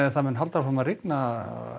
það mun halda áfram að rigna